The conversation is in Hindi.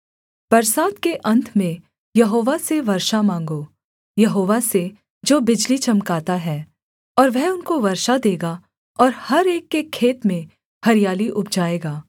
बरसात के अन्त में यहोवा से वर्षा माँगो यहोवा से जो बिजली चमकाता है और वह उनको वर्षा देगा और हर एक के खेत में हरियाली उपजाएगा